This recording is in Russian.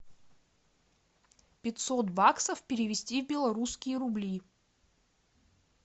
пятьсот баксов перевести в белорусские рубли